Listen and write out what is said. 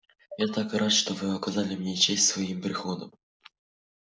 я так рад что вы оказали мне честь своим приходом